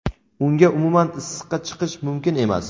Unga umuman issiqqa chiqish mumkin emas.